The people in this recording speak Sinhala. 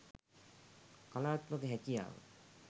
කලාත්මක හැකියාව